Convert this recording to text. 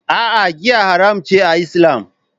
A'a, giya haramun ce a Islam